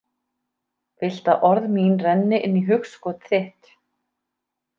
Vilt að orð mín renni inn í hugskot þitt.